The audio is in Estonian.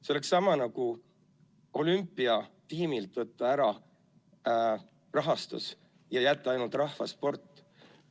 See oleks sama nagu olümpiatiimilt võtta ära rahastus ja jätta ainult rahvasport.